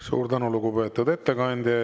Suur tänu, lugupeetud ettekandja!